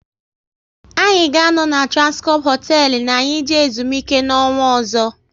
Anyị ga anọ na Transcorp hotelu na anyị jee ezumike n'ọnwa ọzọ